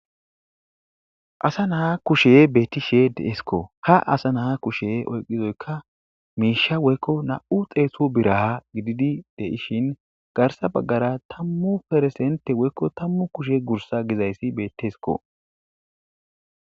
Asa na'a kushey betishe de'sikko ha asa na'a kushey oyqizaykko misha woykko nam'u xeetu bira gidishin garsa bagara tamu % woyko tamu kushe gizzayssi bettesikko.